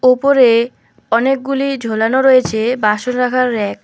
ওপরে অনেকগুলি ঝোলানো রয়েছে বাসন রাখার ব়্যাক ।